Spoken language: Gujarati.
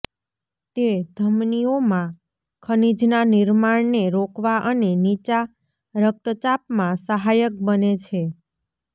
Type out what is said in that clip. તે ધમનીઓમાં ખનીજના નિર્માણને રોકવા અને નીચા રકતચાપમાં સહાયક બને છે